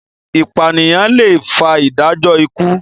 ipaniyan lẹ fà ìdájọ ikú.